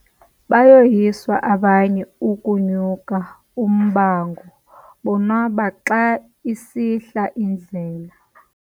Bayoyiswa abanye ukunya ummango bonwaba xa isihla indlela.